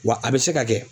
Wa a bɛ se ka kɛ